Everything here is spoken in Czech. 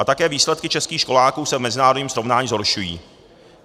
A také výsledky českých školáků se v mezinárodním srovnání zhoršují.